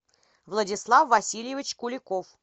владислав васильевич куликов